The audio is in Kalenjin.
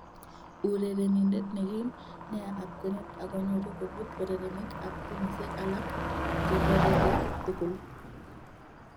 Urerenindet ne kim nea ab kwenet ako nyoru kobut urerenik ab timisiek alak cheboreke tugul.